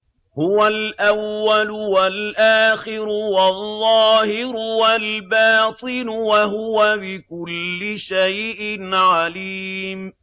هُوَ الْأَوَّلُ وَالْآخِرُ وَالظَّاهِرُ وَالْبَاطِنُ ۖ وَهُوَ بِكُلِّ شَيْءٍ عَلِيمٌ